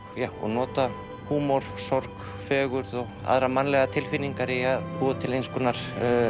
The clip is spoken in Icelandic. nota húmor sorg fegurð og aðrar mannlegar tilfinningar í að búa til eins konar